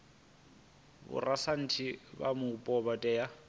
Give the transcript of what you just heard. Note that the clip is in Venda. vhorasaintsi vha mupo vha tea